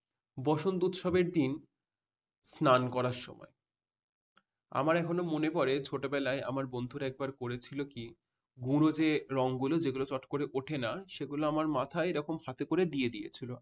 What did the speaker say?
বসন্ত উৎসবের দিন স্নান করার শখ হয়। আমার এখনো মনে পড়ে ছোটবেলায় আমার বন্ধু একবার করেছিল কি গুঁড় যে রঙ গুলো যেগুলো চট করে উঠে না। সেগুলো আমার মাথায় হাতে করে এরকম দিয়ে দিয়েছিল